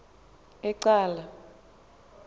ecala